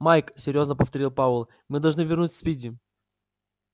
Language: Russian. майк серьёзно повторил пауэлл мы должны вернуть спиди